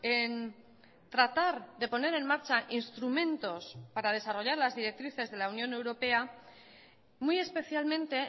en tratar de poner en marcha instrumentos para desarrollar las directrices de la unión europea muy especialmente